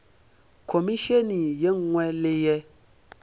khomišene ye nngwe le ye